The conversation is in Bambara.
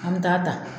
An bɛ taa ta